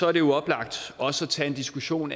er det oplagt også at tage en diskussion